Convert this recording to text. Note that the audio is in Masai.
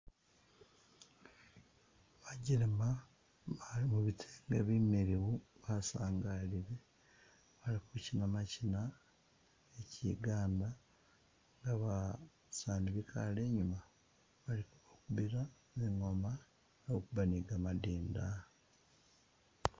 Bajelema bali mu bitege bumiliyu basangalile bali kuchina machina ke chiganda nga basaani bikale i'nyuma bali ko bakuba zingooma bali kukuba ni kamadinda